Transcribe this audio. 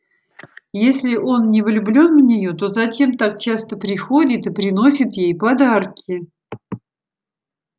если он не влюблён в нее то зачем так часто приходит и приносит ей подарки